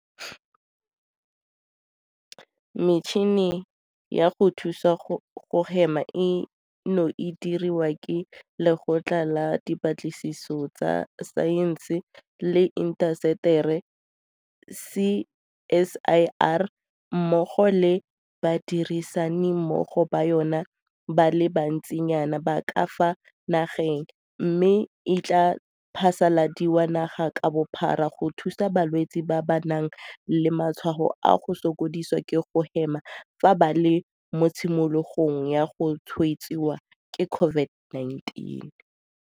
Metšhini ya go thusa go hema eno e dirilwe ke Lekgotla la Dipatlisiso tsa Saense le Intaseteri CSIR mmogo le badirisani mmogo ba yona ba le bantsinyana ba ka fa nageng mme e tla phasaladiwa naga ka bophara go thusa balwetse ba ba nang le matshwao a go sokodisiwa ke go hema fa ba le mo tshimologong ya go tshwaediwa ke COVID-19.